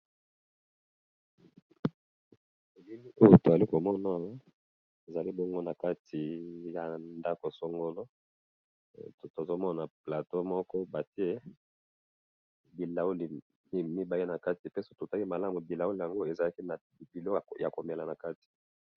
Na bilili oyo toali komona ezali bongo na kati ya ndako songolo. Tozomona plateau moko batie bilauli mibale, na kati pe soki totali malamu bilaoli yango ezalaki na bilo ya komT ela na kati.